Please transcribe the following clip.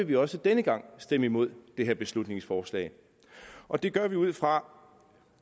vi også denne gang stemme imod det her beslutningsforslag og det gør vi ud fra